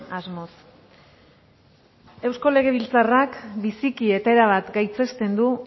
asmoz eusko legebiltzarrak biziki eta erabat gaitzesten du